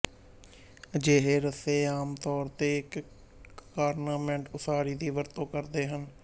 ਅਜਿਹੇ ਰੱਸੇ ਆਮ ਤੌਰ ਤੇ ਇੱਕ ਕਾਰਨਾਮੈਟ ਉਸਾਰੀ ਦੀ ਵਰਤੋਂ ਕਰਦੇ ਹਨ